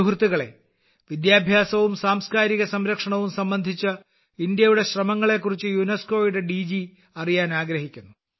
സുഹൃത്തുക്കളേ വിദ്യാഭ്യാസവും സാംസ്കാരിക സംരക്ഷണവും സംബന്ധിച്ച ഇന്ത്യയുടെ ശ്രമങ്ങളെ കുറിച്ച് യുനെസ്കോയുടെ ഡിജി അറിയാൻ ആഗ്രഹിക്കുന്നു